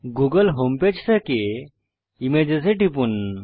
Google home page থেকে images এ টিপুন